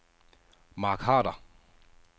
Mark Harder